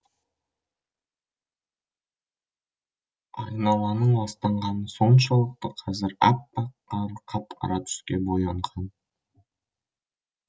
айналаның ластанғаны соншалықты қазір аппақ қар қап қара түске боялған